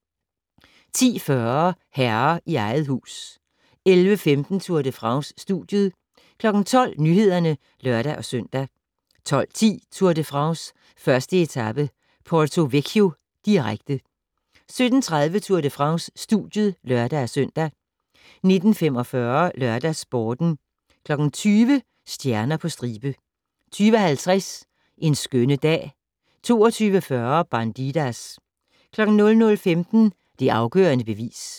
10:40: Herre i eget hus 11:15: Tour de France: Studiet 12:00: Nyhederne (lør-søn) 12:10: Tour de France: 1. etape - Porto-Vecchio, direkte 17:30: Tour de France: Studiet (lør-søn) 19:45: LørdagsSporten 20:00: Stjerner på stribe 20:50: En skønne dag 22:40: Bandidas 00:15: Det afgørende bevis